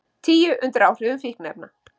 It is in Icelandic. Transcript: Tíu undir áhrifum fíkniefna